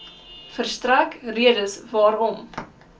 verstrek redes waarom